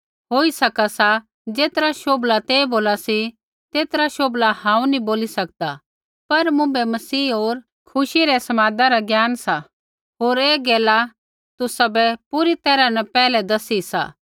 होई सका सा ज़ेतरा शोभला तै बोला सी तेतरा शोभला हांऊँ नी बोली सकदा लेकिन मुँभै मसीह होर खुशी रै समादा रा ज्ञान सा होर ऐ गैला तुसाबै पूरी तैरहा न पैहलै दसी सा